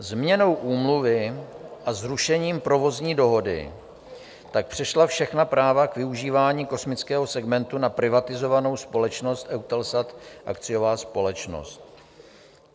Změnou Úmluvy a zrušením provozní dohody tak přešla všechna práva k využívání kosmického segmentu na privatizovanou společnost EUTELSAT, akciová společnost.